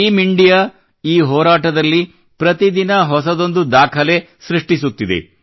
team India ಈ ಹೋರಾಟದಲ್ಲಿ ಪ್ರತಿದಿನ ಹೊಸದೊಂದು ದಾಖಲೆ ಸೃಷ್ಟಿಸುತ್ತಿದೆ